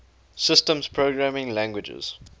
systems programming languages